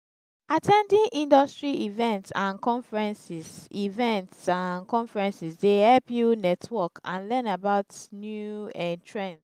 at ten ding industry events and conferences events and conferences dey help you network and learn about new um trends.